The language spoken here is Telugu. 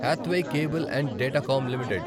Hathway cable and Datacom limited